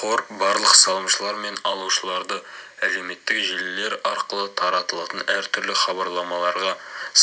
қор барлық салымшылар мен алушыларды әлеуметтік желілер арқылы таратылатын әртүрлі хабарламаларға